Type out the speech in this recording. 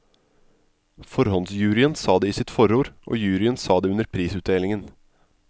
Forhåndsjuryen sa det i sitt forord, og juryen sa det under prisutdelingen.